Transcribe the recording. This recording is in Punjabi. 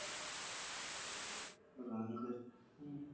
ਉਹ ਰਹਿਣ ਦੇ ਹੂੰ